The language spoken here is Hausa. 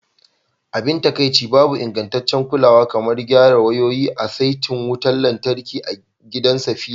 Abin takaici, babu ingantaccen kulawa kamar gyara wayoyin a saitin wutar lantarkin gidan Safira.